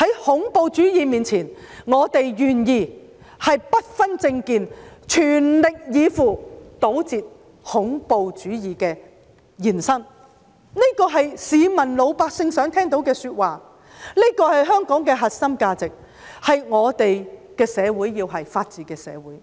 在恐怖主義面前，我們願意不分政見，全力以赴，堵截恐怖主義的延伸，這是市民想聽到的說話，這是香港的核心價值，我們要的是法治社會。